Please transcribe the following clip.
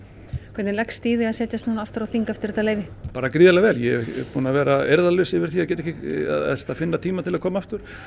hvernig leggst í þig að setjast aftur á þing eftir þetta leyfi bara gríðarlega vel ég er búinn að vera eirðarlaus yfir því að finna tíma til að koma aftur